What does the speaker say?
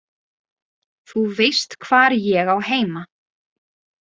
Þú veist hvar ég á heima.